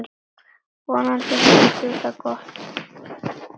Vonandi hefur þú það gott.